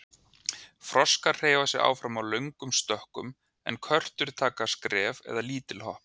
Froskar hreyfa sig áfram í löngum stökkum en körtur taka skref eða lítil hopp.